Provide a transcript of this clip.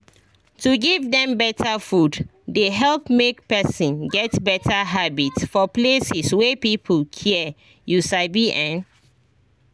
to give dem better food dey help make person get better habit for places wey people care you sabi en